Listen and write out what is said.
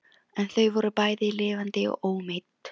En þau voru bæði lifandi og ómeidd.